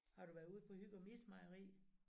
Har du været ud på Hygum ismejeri?